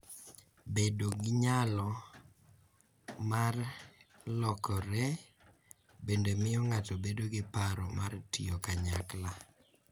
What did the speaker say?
Bedo gi nyalo mar lokore bende miyo ng’ato bedo gi paro mar tiyo kanyakla,